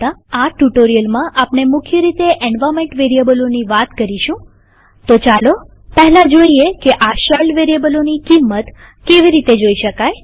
આ ટ્યુ્ટોરીઅલમાં આપણે મુખ્ય રીતે એન્વાર્નમેન્ટ વેરીએબલોની વાત કરીશુંતો ચાલો પહેલા જોઈએ કે આ શેલ વેરીએબલોની કિંમત કેવી રીતે જોઈ શકાય